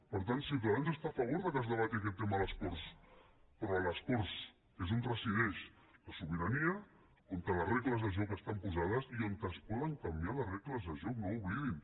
per tant ciutadans està a favor que es debati aquest tema a les corts però a les corts que és on resideix la sobirania on les regles de joc estan posades i on es poden canviar les regles de joc no ho oblidin